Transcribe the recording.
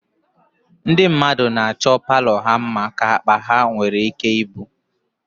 Ndị mmadụ na-achọ palọ ha mma ka akpa ha nwere ike ibu